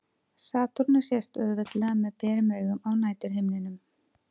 Satúrnus sést auðveldlega með berum augum á næturhimninum.